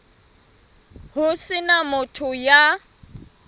ho se na motho ya